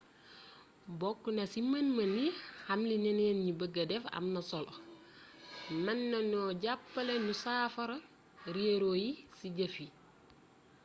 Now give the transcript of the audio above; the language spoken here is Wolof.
bokna ci mën mën yi xam li ñeneen ñi beegee def am na solo mën nañoo jappalé ñu saafara rééro yi ci jëf yi